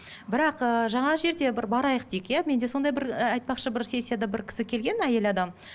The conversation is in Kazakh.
бірақ ыыы жаңағы жерде бір барайық дейік иә менде сондай бір ыыы айтпақшы бір сессияда бір кісі келген әйел адам